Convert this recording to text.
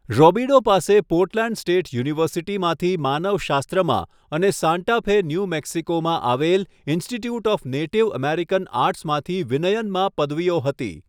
રૉબિડો પાસે Portland State યુનિવર્સિટીમાંથી માનવશાસ્ત્રમાં અને સાન્ટા ફે, ન્યૂ મેક્સિકોમાં આવેલ ઈન્સ્ટિટ્યૂટ ઑફ નેટિવ અમેરિકન આર્ટસમાંથી વિનયનમાં પદવીઓ હતી.